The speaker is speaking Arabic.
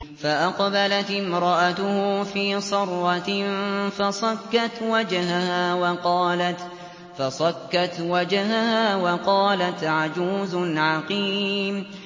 فَأَقْبَلَتِ امْرَأَتُهُ فِي صَرَّةٍ فَصَكَّتْ وَجْهَهَا وَقَالَتْ عَجُوزٌ عَقِيمٌ